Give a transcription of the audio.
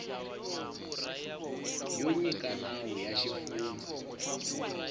yo nyika nawu ya xifundza